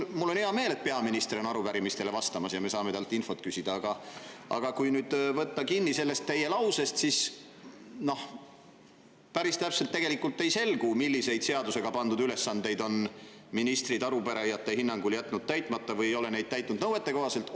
Mul on hea meel, et peaminister on arupärimistele vastamas ja me saame temalt infot küsida, aga kui nüüd võtta kinni sellest teie lausest, siis päris täpselt tegelikult ei selgu, millised seadusega pandud ülesanded on ministrid arupärijate hinnangul täitmata jätnud või mida nad ei ole täitnud nõuetekohaselt.